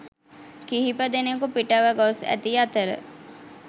කිහිපදෙනකු පිටව ගොස් ඇති අතර